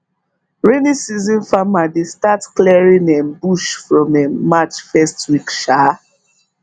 rainy season farmer dey start clearing um bush from um march first week um